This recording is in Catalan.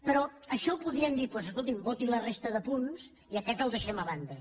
però això ho podríem dir doncs escolti’m voti la resta de punts i aquest el deixem a banda